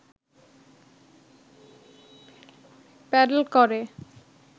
pedal করে